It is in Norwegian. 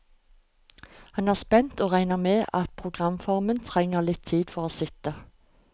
Han er spent, og regner med at programformen trenger litt tid for å sitte.